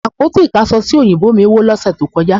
Àpótí ìkáṣọsí ò̀yìnbó mí wó lọ́sẹ̀ tó kọjá